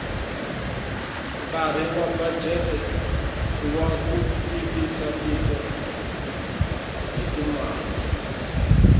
nkari wabudget iwakutivisatiko hhitimale